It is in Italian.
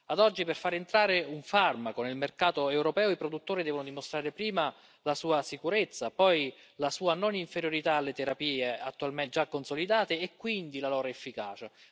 Ad oggi, per far entrare un farmaco nel mercato europeo, i produttori devono dimostrare prima la sua sicurezza, poi la sua non inferiorità alle terapie attualmente già consolidate e quindi la loro efficacia.